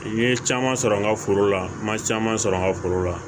N ye caman sɔrɔ n ka foro la n ma caman sɔrɔ n ka foro la